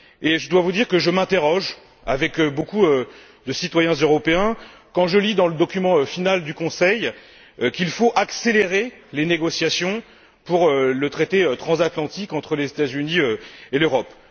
Je dois vous dire que je m'interroge, avec beaucoup de citoyens européens, quand je lis dans le document final du Conseil qu'il faut accélérer les négociations pour le traité transatlantique entre les États Unis et l'Europe.